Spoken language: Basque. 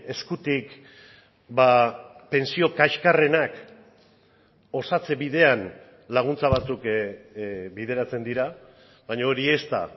eskutik pentsio kaxkarrenak osatze bidean laguntza batzuk bideratzen dira baina hori ez da